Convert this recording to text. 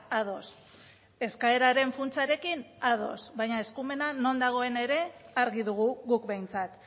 ados eskaeraren funtsarekin ados baina eskumena non dagoen ere argi dugu guk behintzat